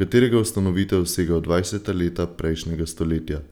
katerega ustanovitev sega v dvajseta leta prejšnjega stoletja.